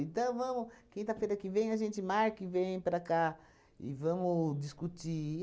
vamos, quinta-feira que vem, a gente marca e vem para cá e vamos discutir.